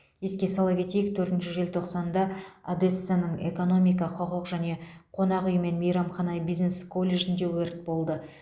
еске сала кетейік төртінші желтоқсанда одессаның экономика құқық және қонақ үй мен мейрамхана бизнесі колледжінде өрт болды